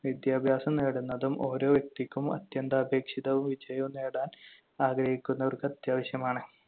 വിദ്യാഭ്യാസം നേടുന്നതും ഓരോ വ്യക്തിക്കും അത്യന്താപേക്ഷിതവും വിജയവും നേടാൻ ആഗ്രഹിക്കുന്നവർക്ക് അത്യാവശ്യമാണ്.